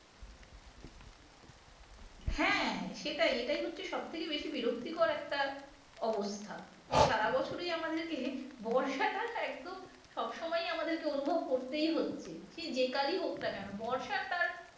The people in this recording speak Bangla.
হ্যাঁ সেটাই এটাই হচ্ছে সবথেকে বেশি বিরক্তিকর একটা অবস্থা যে সারা বছরই আমাদেরকে বর্ষাটা একদম সব সময়ই আমাদেরকে অনুভব করতেই হচ্ছে সে যে কালই হোক না কেন বর্ষা তার